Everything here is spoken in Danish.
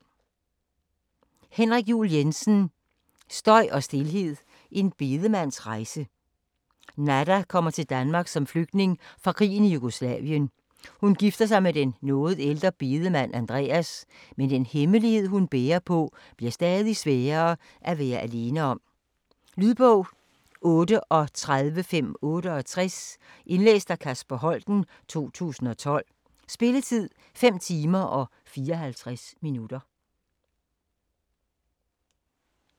Juul Jensen, Henrik: Støj og stilhed: en bedemands rejse Nada kommer til Danmark som flygtning fra krigen i Jugoslavien. Hun gifter sig med den noget ældre bedemand Andreas, men den hemmelighed, hun bærer på, bliver stadig sværere at være alene om. Lydbog 38568 Indlæst af Kasper Holten, 2012. Spilletid: 5 timer, 54 minutter.